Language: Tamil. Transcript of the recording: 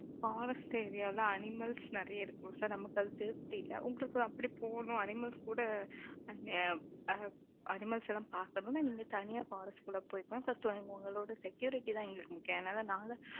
forest area ல, animals நிறைய இருக்கும் sir நமக்கு அது safety இல்லை. உங்களுக்கு அப்படி போகணும், animals கூட, அ, animals எல்லாம் பார்த்த உடனே, நீங்க தனியா உங்களோட security தான் எங்களுக்கு முக்கியம் அதனால நாங்க